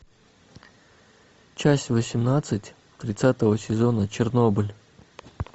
часть восемнадцать тридцатого сезона чернобыль